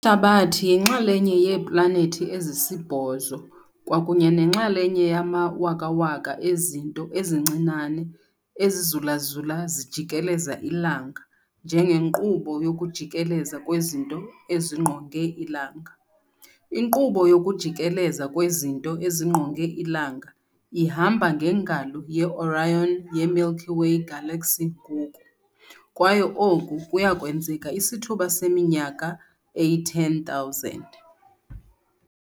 Ihlabathi yinxalenye yeeplanethi ezisibhozo kwakunye nenxalenye yamawakawaka ezinto ezincinane ezizulazula zijikeleza ilanga njengenkqubo yokujikeleza kwezinto ezingqonge ilanga. Inkqubo yokujikeleza kwezinto ezingqonge ilanga ihamba ngeNgalo yeOrion yeMilky Way Galaxy ngoku, kwaye oku kuyakwenzeka isithuba seminyaka eyi-10,000.